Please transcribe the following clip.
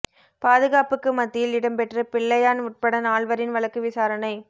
பாதுகாப்புக்கு மத்தியில் இடம்பெற்ற பிள்ளையான் உட்பட நால்வரின் வழக்கு விசாரணை